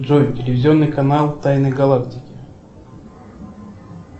джой телевизионный канал тайны галактики